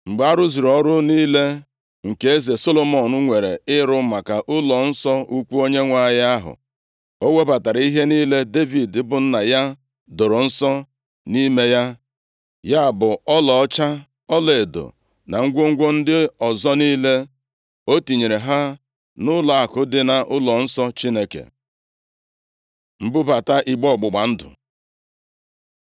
Mgbe a rụzuru ọrụ niile nke eze Solomọn nwere ịrụ maka ụlọnsọ ukwu Onyenwe anyị ahụ, o webatara ihe niile Devid bụ nna ya doro nsọ nʼime ya, ya bụ ọlaọcha, ọlaedo na ngwongwo ndị ọzọ niile. O tinyere ha nʼụlọakụ dị nʼụlọnsọ Chineke. Mbubata igbe ọgbụgba ndụ